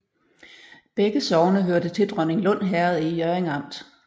Begge sogne hørte til Dronninglund Herred i Hjørring Amt